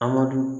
Amadu